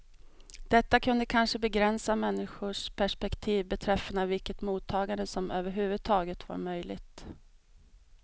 Detta kunde kanske begränsa människors perspektiv beträffande vilket mottagande som överhuvudtaget var möjligt.